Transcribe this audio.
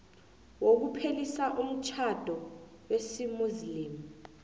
wokuphelisa umtjhado wesimuslimu